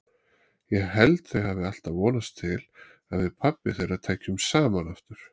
Ég held þau hafi alltaf vonast til að við pabbi þeirra tækjum saman aftur.